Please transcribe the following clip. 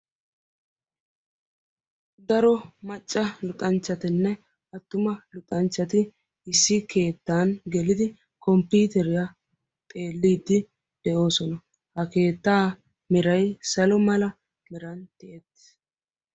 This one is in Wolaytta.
Daro macca luxanchchatinne attuma luxanchchati issi keettan gelidi komppiiteriya xeelliiddi de'oosona. Ha keettaa meray salo mala meran tiyettis.